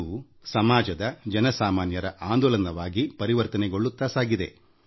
ಅದು ಜನರ ಮತ್ತು ಸಾಮಾಜಿಕ ಆಂದೋಲನವಾಗಿ ಪರಿವರ್ತನೆಯಾಗಿದೆ